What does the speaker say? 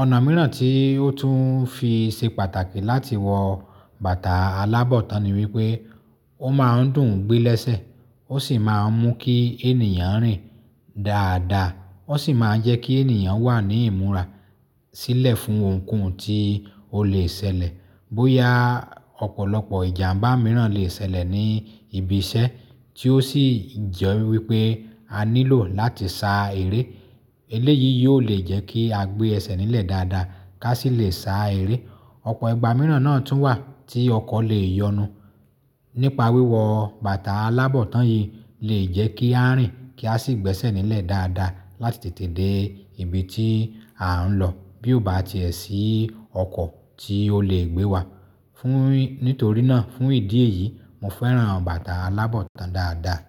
Ọ̀nà mìíràn tí ó tún fi ṣe pàtàkì láti wọ bàtà alábọ̀tan ni wípé ó máa ń dùn gbé lẹ́sẹ̀, ó sì máa ń mú kí ènìyàn rìn dáadáa, ó sì máa ń jẹ́ kí ènìyàn wà ní ìmúra sílẹ̀ fún ohunkóhun tí ó lè ṣẹlẹ̀. Bóyá ọ̀pọ̀lọpọ̀ ìjàmbá mìíràn lè ṣẹlẹ̀ ní ibi iṣẹ́ tí ó sì jẹ wípé a nílò láti sa eré. Eléyìí yóò le jẹ́ kí a gbé ẹsẹ̀ nílẹ̀ dáadáa ká sì lè sá eré. Ọ̀pọ̀ ìgbà mìíràn náà tún wà tí ọkọ̀ lè yọnu. Nípa wíwọ bàtà alábọ̀tán yìí lè jẹ́ kí a rìn kí a sì gbẹ́sẹ̀ nílẹ̀ dáadáa láti tètè dé ibi tí à ń lọ bí ó bá ti ẹ sí ọkọ̀ tí ó lè gbé wa. Fún, nítorí náà fún ìdí èyí mo fẹ́ràn bàtà alábọ̀tán dáadáa.